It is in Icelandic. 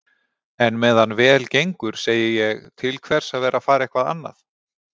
En meðan vel gengur segi ég: Til hvers að vera að fara eitthvað annað?